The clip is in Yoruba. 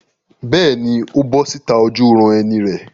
Bẹ́ẹ̀ni, ó bọ́ síta ojúuran-ẹni rẹ̀.